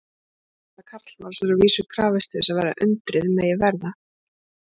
Tilverknaðar karlmanns er að vísu krafist til þess að undrið megi verða.